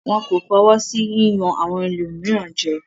Wọn kò fọwọ́ sí jíjẹ́ àwọn ẹlòmíràn jẹ.